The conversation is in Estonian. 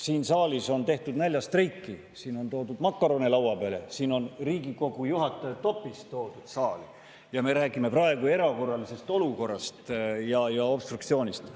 Siin saalis on tehtud näljastreiki, siin on toodud makarone laua peale, Riigikogu juhataja topis on toodud saali – ja me räägime praegu erakorralisest olukorrast ja obstruktsioonist.